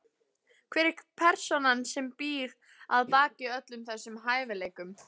Hver er persónan sem býr að baki öllum þessum hæfileikum?